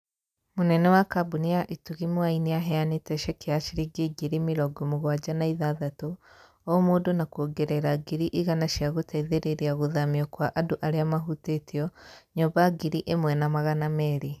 Mũnene wa Kambuni ya Itugi Mwai nĩaheanĩte ceki ya shiringi ngiri mĩrongo mũgwanja na ithathatũ o mũndũ na kuongerera ngiri igana cia gũteithĩrĩria gũthamio kwa andũ arĩa mahutĩtio nyũmba ngiri ĩmwe na magana merĩ.